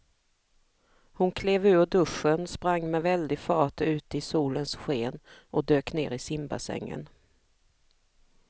Hon klev ur duschen, sprang med väldig fart ut i solens sken och dök ner i simbassängen.